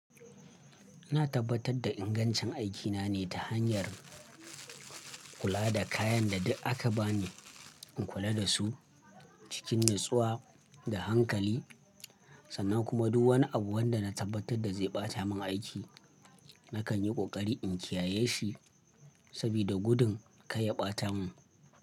Ina tabbatar da ingancin aikina ne ta hanyar, kula da kayan da duk aka ba ni, in kula da su cikin natsuwa da hankali sannan kuma duk wani abu wanda na tabbatar da zai ɓata min aiki nakan yi ƙoƙari in kiyaye shi, sabida gudun kar ya ɓata mun.